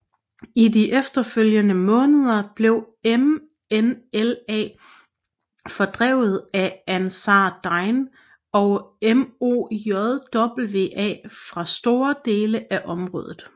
I de efterfølgende måneder blev MNLA fordrevet af Ansar Dine og MOJWA fra store dele af området